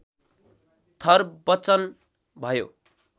थर बच्चन भयो